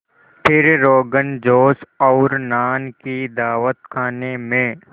फिर रोग़नजोश और नान की दावत खाने में